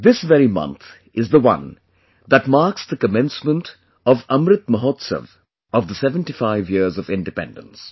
This very month is the one that marks the commencement of 'Amrit Mahotsav' of the 75 years of Independence